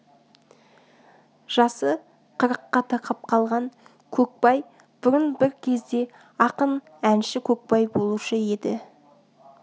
жасы қырыққа тақап қалған көкбай бұрын бір кезде ақын әнші көкбай болушы еді